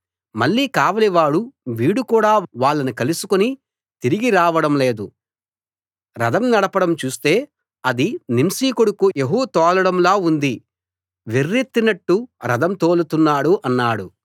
మళ్ళీ కావలి వాడు వీడు కూడా వాళ్ళను కలుసుకుని తిరిగి రావడం లేదు రథం నడపడం చూస్తే అది నింషీ కొడుకు యెహూ తోలడంలా ఉంది వెర్రెత్తినట్టు రథం తోలుతున్నాడు అన్నాడు